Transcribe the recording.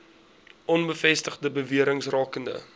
onbevestigde bewerings rakende